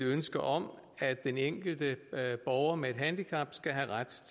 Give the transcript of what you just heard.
ønske om at den enkelte borger med handicap skal have ret